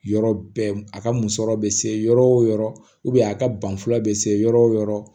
Yɔrɔ bɛɛ a ka musɔrɔ be se yɔrɔ wo yɔrɔ a ka ban fɔlɔ bɛ se yɔrɔ o yɔrɔ